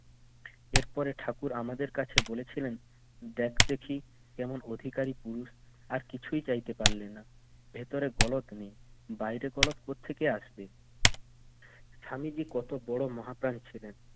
এরপরে ঠাকুর আমাদের কাছে বলেছিলেন, দেখ দেখি কেমন অধিকারী পুরুষ! আর কিছুই চাইতে পারল না। ভেতরে গলদ নেই বাইরে গলদ কোত্থেকে আসবে? স্বামীজি কত বড় মহাপ্রাণ ছিলেন